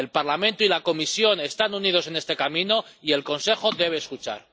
El Parlamento y la Comisión están unidos en este camino y el Consejo debe escuchar.